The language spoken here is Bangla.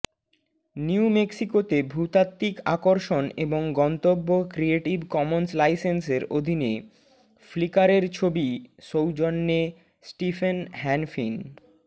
নিউ মেক্সিকো ভূতাত্ত্বিক আকর্ষণ এবং গন্তব্য ক্রিয়েটিভ কমন্স লাইসেন্সের অধীনে ফ্লিকারের ছবি সৌজন্যে স্টিফেন হ্যানফিন